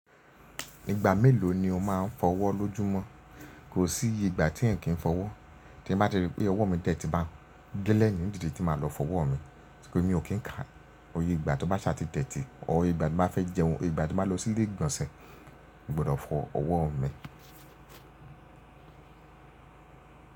Ìgbà mélòó ni o máa ń fọ́wọ́ lójúmọ́? Kò sí iye igba tí ẹ̀eyan kì í n fọwọ́. Tí n bá ti rí pé ọwọ́ mi tẹ́tí bá gẹlẹ̀ nídìde tí máa lọ fọwọ́ mi, èmi ò kí n kà. Iyè ìgbà tó bá ṣà ti deti or, ìye igbà tí n bá fẹ́ jẹun, ìgbà tí n bá lọ sí ilé ìgbọ̀nsẹ̀, mo gbọ́dọ̀ fọ ọwọ́ mi.